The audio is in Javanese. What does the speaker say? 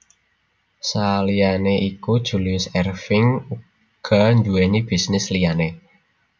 Saliyané iku Julius Erving uga nduwèni bisnis liyané